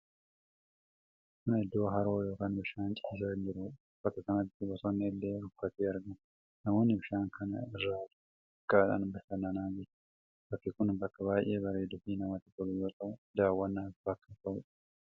Kun iddoo haroo yookiin bishaan ciisaan jirudha. Bakka kanatti bosonni illee rukkatee argama. Namoonni bishaan kana irra doonii xiqqaadhaan bashannanaa jiru. Bakki kun bakka baay'ee bareeduu fi namatti tolu yoo ta'u, daawwannaaf bakka ta'udha.